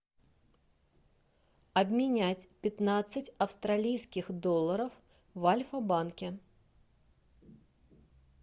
обменять пятнадцать австралийских долларов в альфа банке